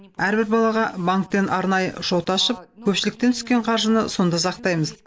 әрбір балаға банктен арнайы шот ашып көпшіліктен түсетін қаржыны сонда сақтаймыз